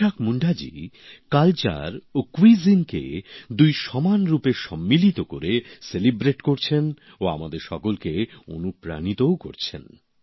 ইসাক মুন্ডাজি সংস্কৃতি ও রান্নাবান্না দুটিকে সমানভাবে মিলিয়ে দিয়ে তা উদযাপন করছেন ও আমাদের সকলকে অনুপ্রাণিতও করছেন